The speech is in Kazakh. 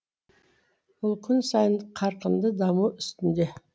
ол күн сайын қарқынды даму үстінде